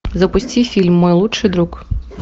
запусти фильм мой лучший друг